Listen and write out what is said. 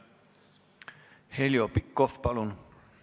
Heljo Pikhof, palun!